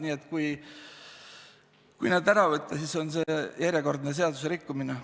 Nii et kui need ära võtta, siis see on järjekordne seaduserikkumine.